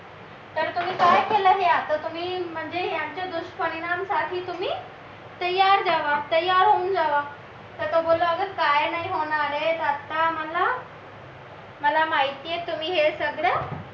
तर तुम्ही काय केलं हे आता तुम्ही म्हणजे याच्या दुष्परिणाम साठी तुम्ही तयार राहावं तयार होऊन जावा तर तो बोलला अरे काय नाही होणार आहे आता मला तुम्ही मला माहित आहे तुम्ही हे सगळं